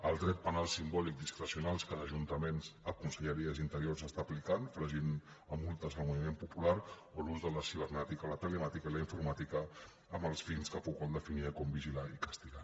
el dret penal simbòlic discrecional que d’ajuntaments a conselleries d’interior s’està aplicant fregint a multes el moviment popular o l’ús de la cibernètica la telemàtica i la informàtica amb els fins que foucault definia com vigilar i castigar